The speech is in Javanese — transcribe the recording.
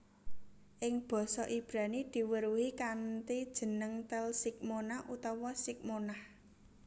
Ing Basa Ibrani diweruhi kanthi jeneng Tel Shiqmona utawa Shikmonah